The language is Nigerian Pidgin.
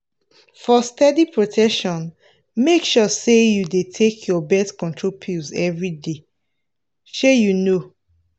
for steady protection make sure say you dey take your birth control pills every day! shey you know.